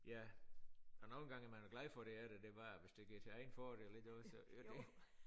Ja og nogen gange er man da glad for det er der det bare hvis det ikke er til egen fordel ikke du ved så